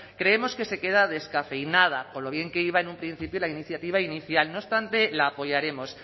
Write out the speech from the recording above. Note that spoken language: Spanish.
creemos que se queda descafeinada con lo bien que iba en un principio la iniciativa inicial no obstante la apoyaremos